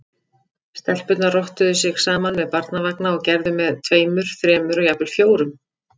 Stelpurnar rottuðu sig saman með barnavagna og gerðu með tveimur, þremur og jafnvel fjórum.